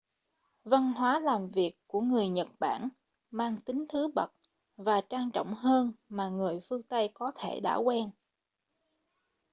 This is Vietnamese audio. văn hóa làm việc của người nhật bản mang tính thứ bậc và trang trọng hơn mà người phương tây có thể đã quen